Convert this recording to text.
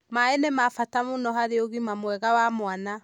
Maĩ nĩ ma bata mũno harĩ ũgima mwega wa mwana.